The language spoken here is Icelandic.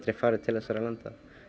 farið til þessara landa